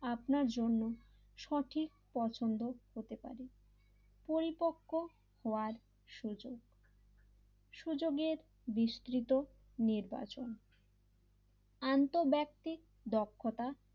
আপনার জন্য সঠিক পছন্দ হতে পারে পরিপক্ক হওয়ার সুযোগ সুযোগের বিস্তৃত নির্বাচন আন্তর ব্যক্তি দক্ষতা,